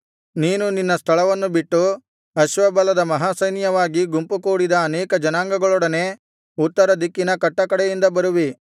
ನೀನು ನಿನ್ನ ಸ್ಥಳವನ್ನು ಬಿಟ್ಟು ಅಶ್ವಬಲದ ಮಹಾಸೈನ್ಯವಾಗಿ ಗುಂಪು ಕೂಡಿದ ಅನೇಕ ಜನಾಂಗಗಳೊಡನೆ ಉತ್ತರದಿಕ್ಕಿನ ಕಟ್ಟಕಡೆಯಿಂದ ಬರುವಿ